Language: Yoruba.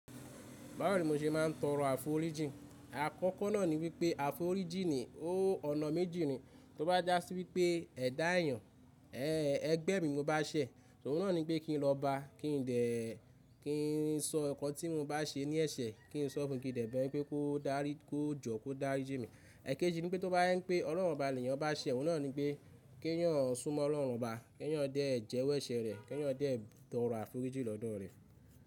Báwo ni mò ṣe máà ń tọrọ àforíjín Àkọ́kọ́ náà ni wípé àforíjín ni ó ọ̀nà méjì ni. Tó bá jásí wípé ẹ̀dá èeyàn, ẹẹ́ ẹgbẹ́ mi mo bá ṣẹ̀, òhun náà ni pé kí n lọba, kí n dè ẹ́, kí n sọ ǹkan tí mo bá ṣe ní ẹ̀ṣẹ̀, kí n sọ fun kí n dè bẹ́ẹ̀ pé kó dárí, kó jọ̀ kó dáríjínmi ẹ̀kẹjì ni pé tó bá je n pé Ọlọ́run ọba leeyàn bá ṣẹ̀, òhun náà ni pé kí ẹ̀eyàn súnmọ́ Ọlọ́run ọba, kí ẹ̀eyàn dé jẹ́wọ́ ẹ̀ṣẹ̀ rẹ̀, kí ẹ̀eyàn dé ẹ́ tọrọ àforíjín lọ́dọ̀ rẹ.